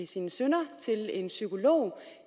sine synder til en psykolog